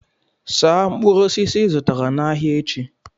saa mkpụrụ osisi ị zụtara n'ahịa echi